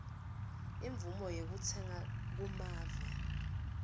imvumo yekutsenga kumave